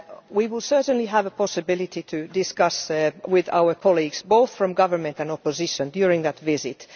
We will certainly have a possibility to discuss with our colleagues, both from government and opposition, during that visit.